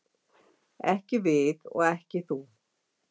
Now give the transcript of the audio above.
Ekki við og ekki þú.